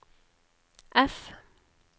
F